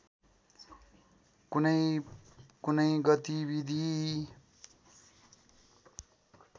कुनै कुनै गतिविधि